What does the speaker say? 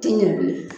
Ti ɲɛ bilen